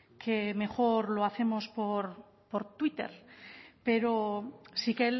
que mejor lo hacemos por twitter pero sí que